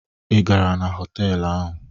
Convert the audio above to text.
Ị gara na họtelụ ahụ?